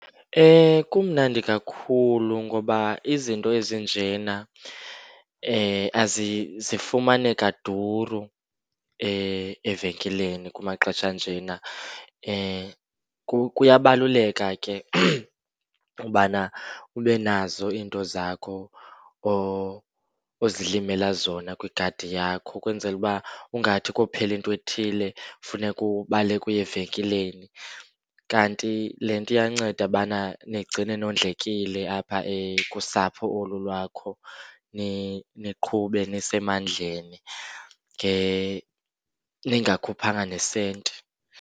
Kumnandi kakhulu ngoba izinto ezinjena zifumaneka duru evenkileni kumaxesha anjena. Kuyabaluleka ke ubana ube nazo into zakho ozilimela zona kwigadi yakho ukwenzele uba ungathi kophela intwethile, funeka ubaleke uye evenkileni. Kanti le nto iyanceda ubana nigcine nondlekile apha kusapho olu lwakho, niqhube nisemandleni ningakhuphanga nesenti.